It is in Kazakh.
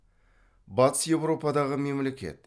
батыс еуропадағы мемлекет